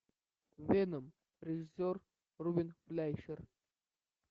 веном режиссер рубен флейшер